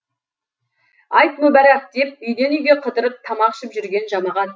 айт мүбәрәк деп үйден үйге қыдырып тамақ ішіп жүрген жамағат